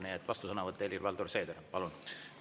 Nii et vastusõnavõtt, Helir-Valdor Seeder, palun!